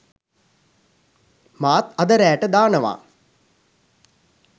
මාත් අද රෑට දානවා